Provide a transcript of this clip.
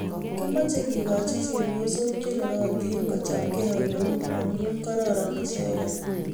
Kimeeche kegoochi chepyosook cheneriatiin kochaamgei ole yu amun karaaran icheeget.